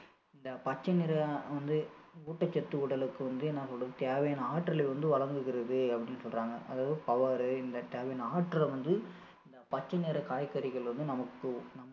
இந்த பச்சை நிறம் வந்து ஊட்டச்சத்து உடலுக்கு வந்து நமக்கு தேவையான ஆற்றலை வந்து வழங்குகிறது அப்படின்னு சொல்றாங்க அதாவது power இந்த ஆற்றல வந்து இந்த பச்சை நிற காய்கறிகள் வந்து நமக்கு